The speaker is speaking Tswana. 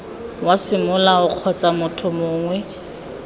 wa semolao kgotsa motho mongwe